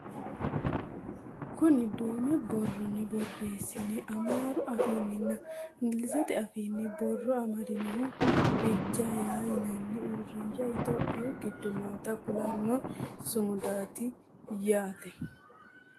kuni duume borronni borreessine amaaru afiinninna ingilizete afiinni borro amadinohu biji ayi yinanni uurrinsha itiyophiyu giddo noota kulanno sumudaati yaaate